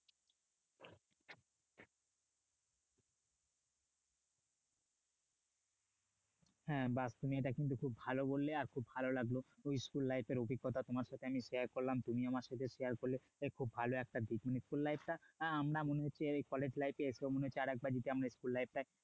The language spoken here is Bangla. হ্যাঁ বাহ তুমি এটা কিন্তু খুব ভালো বললে আর খুব ভালো লাগলো school life এর অভিজ্ঞতা আমি তোমার সাথে আমি share করলাম তুমি আমার সাথে share করলে আহ ভালো একটা school life টা কলেজ লাইফে এসে আরেকবার যদি আমরা school life